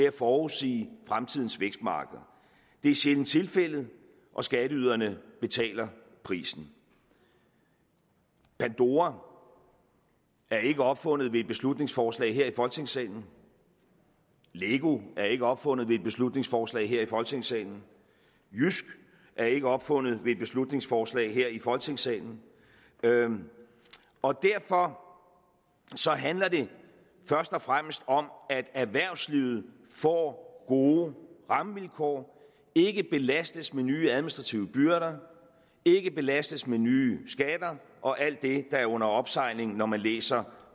at forudsige fremtidens vækstmarkeder det er sjældent tilfældet og skatteyderne betaler prisen pandora er ikke opfundet ved et beslutningsforslag her i folketingssalen lego er ikke opfundet ved et beslutningsforslag her i folketingssalen jysk er ikke opfundet ved et beslutningsforslag her i folketingssalen og derfor handler det først og fremmest om at erhvervslivet får gode rammevilkår ikke belastes med nye administrative byrder ikke belastes med nye skatter og alt det er under opsejling når man læser